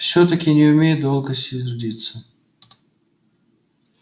всё-таки не умею долго сердиться